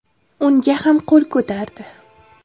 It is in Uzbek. Unga ham qo‘l ko‘tardi.